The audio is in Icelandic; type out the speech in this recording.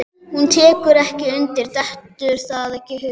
Hún tekur ekki undir, dettur það ekki í hug.